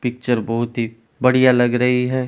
Picture बहुत ही बढ़िया लग रही है ।